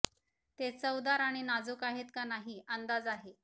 ते चवदार आणि नाजुक आहेत का नाही अंदाज आहे